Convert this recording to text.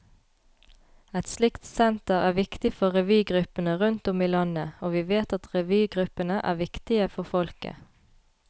Et slikt senter er viktig for revygruppene rundt om i landet, og vi vet at revygruppene er viktige for folket.